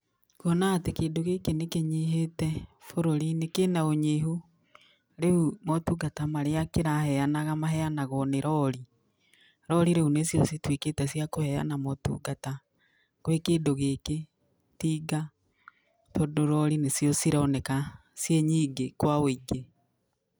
Kwona atĩ kĩndũ gĩkĩ nĩkĩnyihĩte bũrũri-inĩ, kĩna ũnyihu, rĩu motungata marĩa kĩraheanaga maheanagwo nĩ rori. Rori rĩu nĩcio citwĩkĩte cia kũheana motungata gwĩ kĩndũ gĩkĩ. itinga, tondũ rori nĩcio cironeka ciĩ nyingĩ, kwa ũingĩ.